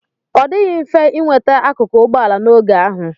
Ọ dịghị mfe inweta akụkụ ụgbọ ala n'oge ahụ.